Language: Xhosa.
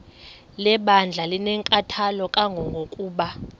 lebandla linenkathalo kangangokuba